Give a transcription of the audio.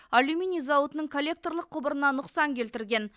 алюминий зауытының коллекторлық құбырына нұқсан келтірген